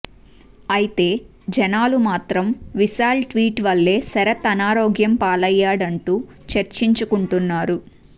ఐతే జనాలు మాత్రం విశాల్ ట్వీట్ వల్లే శరత్ అనారోగ్యం పాలయ్యాడంటూ చర్చించుకుంటున్నారు